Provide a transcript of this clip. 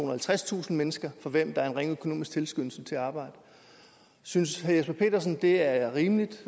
og halvtredstusind mennesker for hvem der er en ringe økonomisk tilskyndelse til at arbejde synes herre jesper petersen det er rimeligt